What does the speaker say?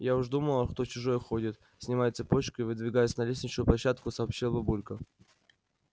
я уж думала кто чужой ходит снимая цепочку и выдвигаясь на лестничную площадку сообщила бабулька